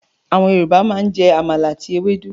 Àwọn Yorùbá máa ń jẹ àmàlà àti ewédú.